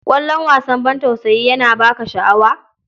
Kallon wasan ban tausayi yana ba ka sha'awa?